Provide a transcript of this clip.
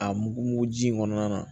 A mugu mugu ji in kɔnɔna na